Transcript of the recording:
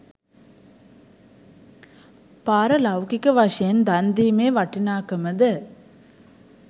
පාර ලෞකික වශයෙන් දන් දීමේ වටිනාකම ද